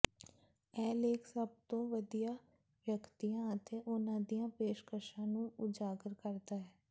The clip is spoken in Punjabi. ਇਹ ਲੇਖ ਸਭ ਤੋਂ ਵਧੀਆ ਵਿਅਕਤੀਆਂ ਅਤੇ ਉਹਨਾਂ ਦੀਆਂ ਪੇਸ਼ਕਸ਼ਾਂ ਨੂੰ ਉਜਾਗਰ ਕਰਦਾ ਹੈ